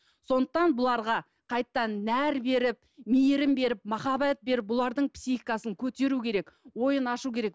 сондықтан бұларға қайтадан нәр беріп мейірім беріп махаббат беріп бұлардың психикасын көтеру керек ойын ашу керек